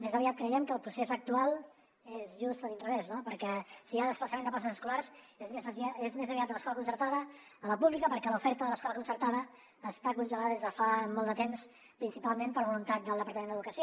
més aviat creiem que el procés actual és just a l’inrevés no perquè si hi ha desplaçament de places escolars és més aviat de l’escola concertada a la pública perquè l’oferta de l’escola concertada està congelada des de fa molt de temps principalment per voluntat del departament d’educació